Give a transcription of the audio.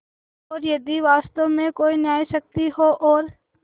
और यदि वास्तव में कोई न्यायशक्ति हो और